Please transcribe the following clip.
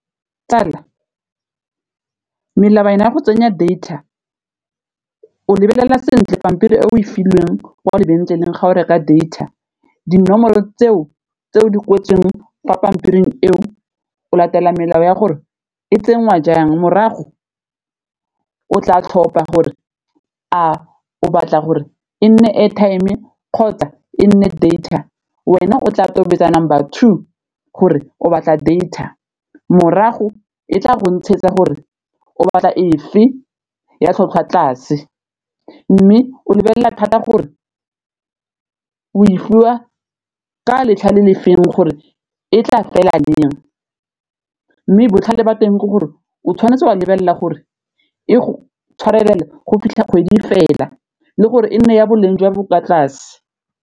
Tsala melawana ya go tsenya data o lebelela sentle pampiri e o e filweng o lebenkeleng ga o reka data, dinomoro tseo tse o di kwetsweng gwa pampiring eo o latela melao ya gore e tsenngwa jang morago o tla tlhopha gore a o batla gore e nne airtime e kgotsa e nne data, wena o tla tobetsa number two gore o batla data, morago e tla go ntshetsa gore o batla efe ya tlhwatlhwa tlase, mme o lebelela thata gore o e fiwa ka letlha le lefeng gore e tla fela leng, mme botlhale ba teng ke gore o tshwanetse wa lebelela gore e go tshwarelela go fitlha kgwedi fela le gore e nne ya boleng jo bo kwa tlase.